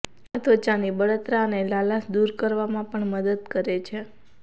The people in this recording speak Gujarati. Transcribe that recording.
આ ત્વચાની બળતરા અને લાલાશ દૂર કરવામાં પણ મદદ કરે છે